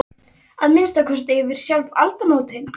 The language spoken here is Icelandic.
Heill yður barón Borgarfjarðar búhöldur vorrar stærstu jarðar.